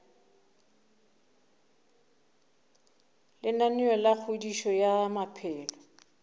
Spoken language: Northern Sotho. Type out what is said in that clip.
lenaneo la kgodišo ya maphelo